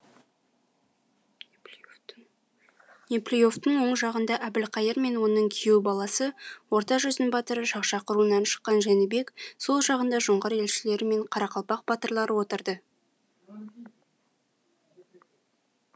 неплюевтің оң жағында әбілқайыр мен оның күйеу баласы орта жүздің батыры шақшақ руынан шыққан жәнібек сол жағында жоңғар елшілері мен қарақалпақ батырлары отырды